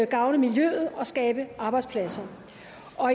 gavne miljøet og skabe arbejdspladser